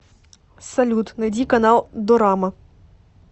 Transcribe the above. салют найди канал дорама